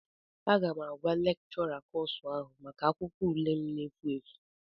Aga m agwa lekchọra kọsu ahụ maka akwụkwọ ule m na-efu efu